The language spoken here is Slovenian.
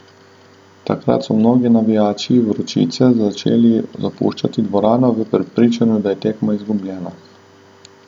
Takrat so mnogi navijači vročice začeli zapuščati dvorano v prepričanju, da je tekma izgubljena.